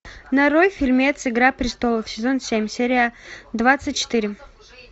нарой фильмец игра престолов сезон семь серия двадцать четыре